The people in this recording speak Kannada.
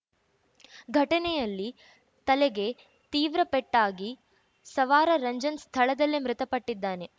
ಘಟನೆಯಲ್ಲಿ ತಲೆಗೆ ತೀವ್ರ ಪೆಟ್ಟಾಗಿ ಸವಾರ ರಂಜನ್‌ ಸ್ಥಳದಲ್ಲೇ ಮೃತಪಟ್ಟಿದ್ದಾನೆ